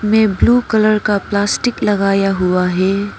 में blue colour का plastic लगाया हुआ है।